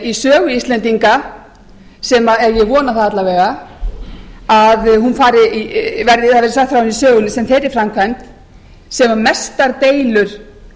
í sögu íslendinga eða ég vona það alla vega að hún verði jafn söguleg sem þeirri framkvæmd sem mestar deilur